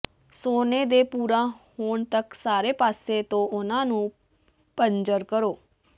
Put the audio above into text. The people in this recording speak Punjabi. ਸੋਨੇ ਦੇ ਭੂਰਾ ਹੋਣ ਤਕ ਸਾਰੇ ਪਾਸੇ ਤੋਂ ਉਨ੍ਹਾਂ ਨੂੰ ਭਜ਼ਰ ਕਰੋ